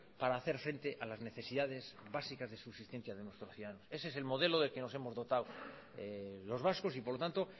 para hacer frente a las necesidades básicas de subsistencia de nuestros ciudadanos ese es el modelo del que nos hemos dotado los vascos y por lo tanto